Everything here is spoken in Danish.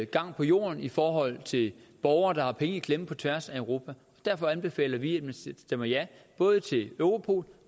gang på jorden i forhold til borgere der har penge i klemme på tværs af europa derfor anbefaler vi at man stemmer ja både til europol